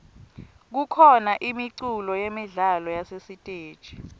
kukhona imiculo yemidlalo yasesiteji